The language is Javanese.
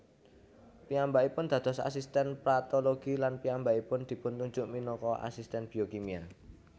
Piyambakipun dados asisten patologi lan piyambakipun dipuntunjuk minangka asisten biokimia